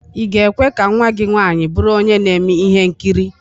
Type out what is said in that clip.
Ị ga-ekwe ka nnwa gị nwaanyị bụrụ onye na-eme ihe nkiri?